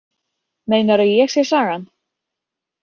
Meinarðu að ég sé sagan?